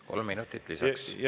Kolm minutit lisaaega.